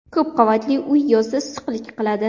Ko‘p qavatli uy yozda issiqlik qiladi.